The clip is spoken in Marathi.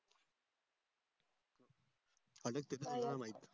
अडकते त्याचा त्याला माहित